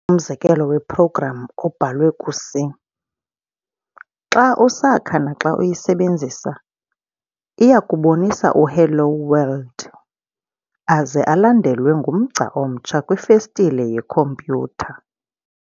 umzekelo we-program obhalwe ku-C. Xa usakha naxa uyisebenzisa, iyakubonisa u-"Hello world!", aze alandelwe ngumgca omtsha kwifestile yekhomputer.